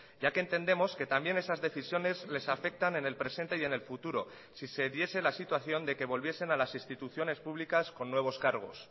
ya que entendemos que también esas decisiones les afectan en el presente y en el futuro si se diese la situación de que volviesen a las instituciones públicas con nuevos cargos